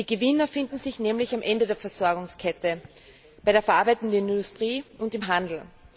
Die Gewinner finden sich nämlich am Ende der Versorgungskette bei der verarbeitenden Industrie und im Handel.